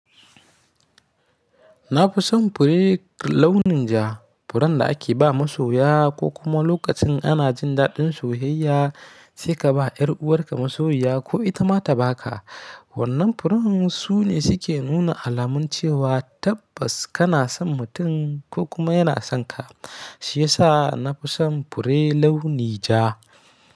Nafison fure launin ja, furen da ake ba masoya ko kuma lokacin ana jin daɗin soyayya, sai ka ba ƴar'uwarka masoyiya ko ita ma ta ba ka. Wannan furen su ne suke nuna alamun cewa tabbas kana son mutum ko kuma yana son ka, shi ya sa nafison fure launi ja.